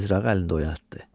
o mizrağı əlində oynatdı.